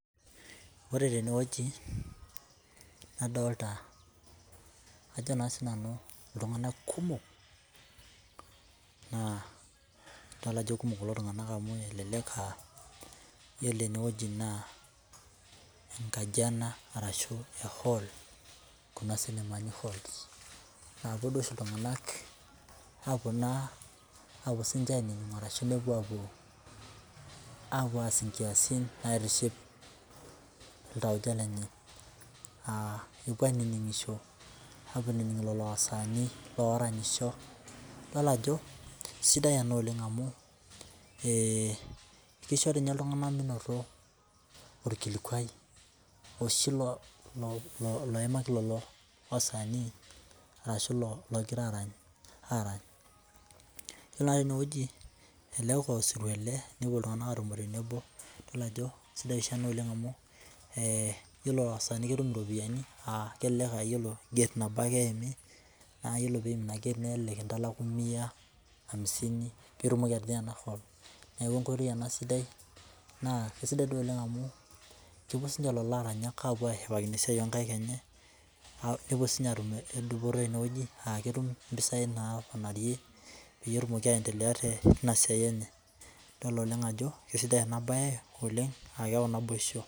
Ore tenewueji, nadolta ajo naa sinanu iltung'anak kumok, naa idol ajo kumok kulo tung'anak amu elelek ah yiolo enewueji naa enkaji ena arashu hall kuna sinemani halls, napuo duo oshi iltung'anak apuo naa apuo sinche ainining arashu nepuo apuo, apuo aas inkiasin naitiship iltauja lenye. Ah epuo ainining'isho apuo ainining lelo wasanii loranyisho. Idol ajo, sidai ena oleng amu kisho tinye iltung'anak minoto orkilikwai oshi loimaki lolo sanii, arashu logira arany, arany. Yiolo na enewueji, elelek osirua ele, nepuo iltung'anak atumo tenebo, idol ajo sidai oshi ena oleng amu, yiolo wasanii ketum iropiyiani ah kelelek ayiolo gate nabo ake eimi, nayiolo piim ina gate nelelek kitalaku mia, amisini pitumoki atijing'a ena hall. Neeku enkoitoi ena sidai naa kesidai di oleng amu kepuo sinche lolo aranyak apuo ashipakino esiai onkaik enye, nepuo sinye atum edupoto tenewueji ah ketum impisai naponarie peyie etumoki aendelea tinasiai enye. Idol oleng ajo, kesidai enabae oleng, ah keu naboisho.